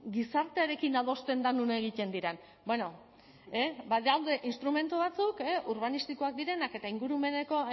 gizartearekin adosten da non egiten diren bueno badaude instrumentu batzuk urbanistikoak direnak eta ingurumeneko